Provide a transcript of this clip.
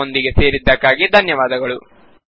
ನಮ್ಮೊಂದಿಗೆ ಸೇರಿದ್ದಕ್ಕಾಗಿ ಧನ್ಯವಾದಗಳು